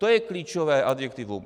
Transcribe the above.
To je klíčové adjektivum.